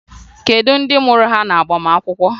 Kedu ndị mụrụ ha n'agbamakwụkwọ?